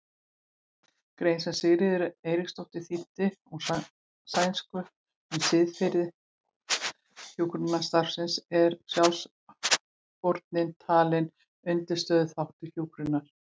grein sem Sigríður Eiríksdóttir þýddi úr sænsku um siðfræði hjúkrunarstarfsins er sjálfsfórnin talin undirstöðuþáttur hjúkrunar.